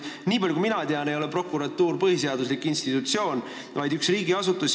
Nii palju kui mina tean, ei ole prokuratuur põhiseaduslik institutsioon, vaid üks riigiasutus.